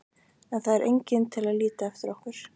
En það er enginn til að líta eftir okkur.